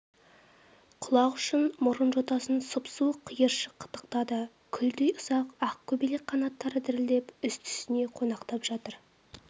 құлақ ұшын мұрын жотасын сұп-суық қиыршық қытықтады күлдей ұсақ ақ көбелек қанаттары дірілдеп үсті-үстіне қонақтап жатыр